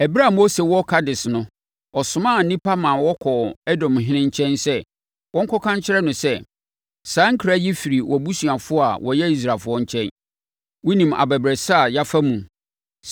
Ɛberɛ a Mose wɔ Kades no, ɔsomaa nnipa ma wɔkɔɔ Edomhene nkyɛn sɛ wɔnkɔka nkyerɛ no sɛ: “Saa nkra yi firi wʼabusuafoɔ a wɔyɛ Israelfoɔ nkyɛn. Wonim abɛbrɛsɛ a yɛafa mu,